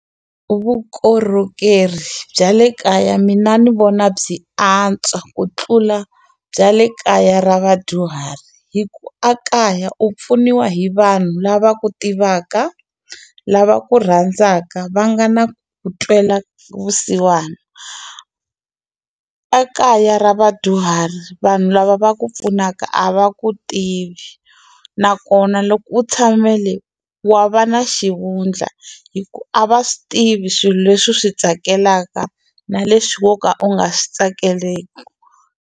U vukorhokeri bya le kaya mina ni vona byi antswa ku tlula bya le kaya ra vadyuhari hi ku a kaya u pfuniwa hi vanhu lava ku tivaka lava ku rhandzaka va nga na ku twela vusiwana a kaya ra vadyuhari vanhu lava va ku pfunaka a va ku tivi nakona loko u tshame le wa va na xivundla hi ku a va swi tivi swilo leswi swi tsakelaka na leswi wo ka u nga swi tsakeleki.